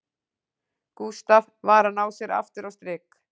Gústaf var að ná sér aftur á strik